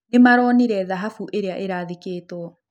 Nĩmaronĩre thahabũ ĩrĩa ĩrathĩkĩtwo